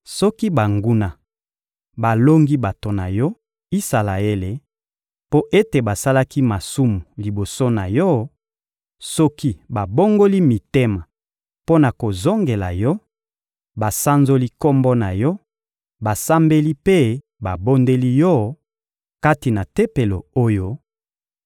Soki banguna balongi bato na Yo, Isalaele, mpo ete basalaki masumu liboso na Yo, soki babongoli mitema mpo na kozongela Yo, basanzoli Kombo na Yo, basambeli mpe babondeli Yo, kati na Tempelo oyo,